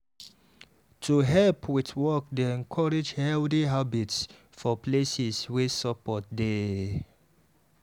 to help with work dey encourage healthy habits for places wey support dey.